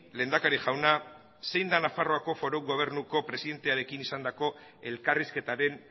lehendakari jauna zein da nafarroako foru gobernuko presidentearekin izandako elkarrizketaren